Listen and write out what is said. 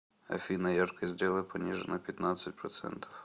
афина яркость сделай пониже на пятнадцать процентов